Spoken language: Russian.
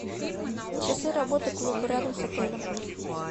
часы работы клуба рядом с отелем